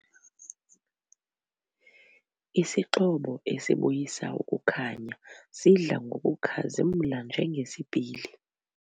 Isixhobo esibuyisa ukukhanya sidla ngokukhazimla njengesipili.